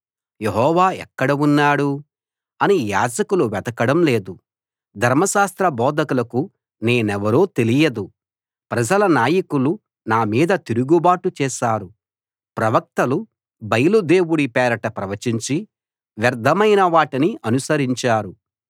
యెహోవా ఎక్కడ ఉన్నాడు అని యాజకులు వెతకడం లేదు ధర్మశాస్త్ర బోధకులకు నేనెవరో తెలియదు ప్రజల నాయకులు నా మీద తిరుగుబాటు చేశారు ప్రవక్తలు బయలు దేవుడి పేరట ప్రవచించి వ్యర్ధమైన వాటిని అనుసరించారు